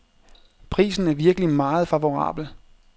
Prisen er virkelig meget favorabel.